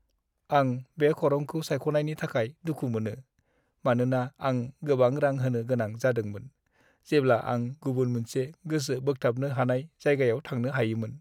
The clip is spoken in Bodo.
आं बे खरंखौ सायख'नायनि थाखाय दुखु मोनो, मानोना आं गोबां रां होनो गोनां जादोंमोन, जेब्ला आं गुबुन मोनसे गोसो बोगथाबनो हानाय जायगायाव थांनो हायोमोन।